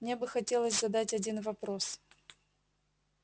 мне бы хотелось задать один вопрос